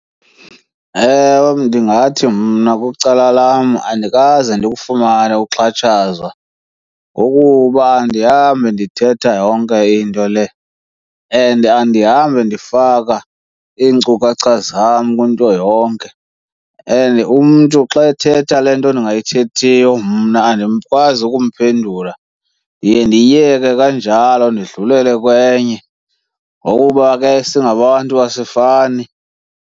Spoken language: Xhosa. Ewe, ndingathi mna kwicala lam andikaze ndikufumane ukuxhatshazwa ngokuba andihambi ndithetha yonke into le and andihambi ndifaka iinkcukacha zam kwinto yonke. And umntu xa ethetha le nto ndingayithethiyo mna andikwazi ukumphendula, ndiye ndiyiyeke kanjalo ndidlulele kwenye ngokuba ke singabantu asifani.